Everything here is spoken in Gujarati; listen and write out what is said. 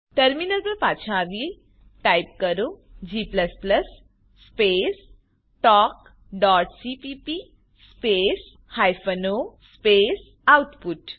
ટર્મિનલ પર પાછા આવીએ ટાઈપ કરો g સ્પેસ talkસીપીપી space hyphen o space output